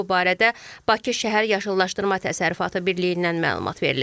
Bu barədə Bakı Şəhər Yaşıllaşdırma Təsərrüfatı Birliyindən məlumat verilib.